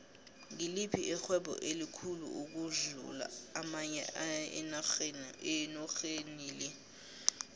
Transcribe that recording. ngiliphi ixhwebo elikhulu ukudlu amanye enorhenile